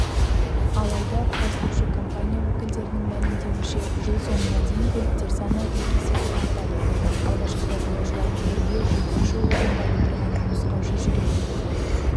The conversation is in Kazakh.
алайда құрастырушы компания өкілдерінің мәлімдеуінше жыл соңына дейін көліктер саны екі есеге артады алғашқыда жолаушылармен бірге жүргізуші орнында отырған нұсқаушы жүреді